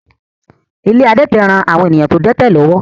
Ilé àwọn adẹ́tẹ̀ ń ran àwọn èèyàn tó dẹ́tẹ̀ lọ́wọ́